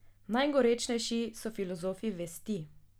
Najgorečnejši so filozofi vesti.